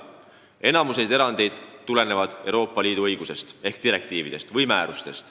Enamik nendest eranditest tuleneb Euroopa Liidu õigusest ehk direktiividest või määrustest.